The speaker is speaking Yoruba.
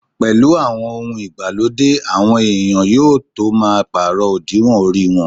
Pẹ̀lú àwọn ohun ìgbàlódé, àwọn èèyàn yóò tó máa pàrọ̀ òdiwọ̀n orí wọn